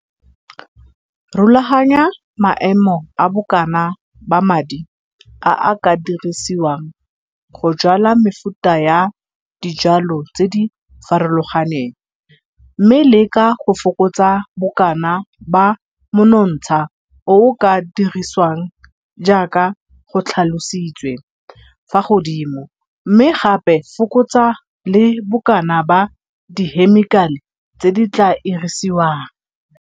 Rulaganya maemo a bokana ba madi a a ka dirisiwang go jwala mefuta ya dijwalwa tse di farologaneng mme leka go fokotsa bokana ba monontsha o o ka dirisiwang jaaka go tlhalositswe fa godimo mme gape fokotsa le bokana ba dihemikale tse di tlaa irisiwang.